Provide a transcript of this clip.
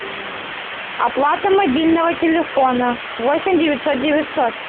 оплата мобильного телефона восемь девятьсот девятьсот